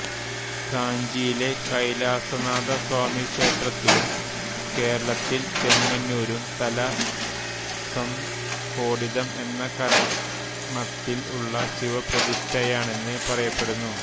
കാഞ്ചിയിലെ കൈലാസനാഥസ്വാമിക്ഷേത്രത്തിലും കേരളത്തിൽ ചെങ്ങന്നൂരും തല സംസ്ഫോടിതം എന്ന കരണത്തിൽ ഉള്ള ശിവപ്രതിഷ്ഠയാണെന്ന് പറയപ്പെടുന്നു